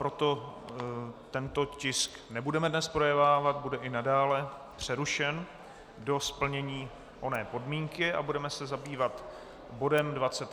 Proto tento tisk nebudeme dnes projednávat, bude i nadále přerušen do splnění oné podmínky, a budeme se zabývat bodem